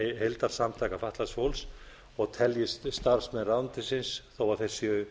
heildarsamtaka fatlaðs fólks og teljist starfsmenn ráðuneytisins þó þeir séu